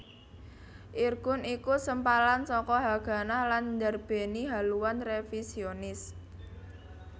Irgun iku sempalan saka Haganah lan ndarbèni haluan révisionis